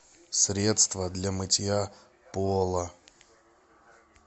средство для мытья пола